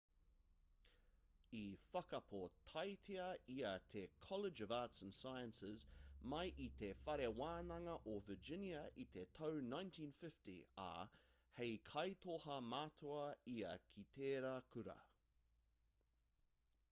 i whakapōtaetia ia i te college of arts & sciences mai i te whare wānanga o virginia i te tau 1950 ā hei kaitoha matua ia ki tērā kura